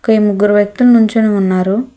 ఈ ముగ్గురు వ్యక్తులు నించొని ఉన్నారు.